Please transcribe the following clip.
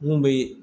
Mun bɛ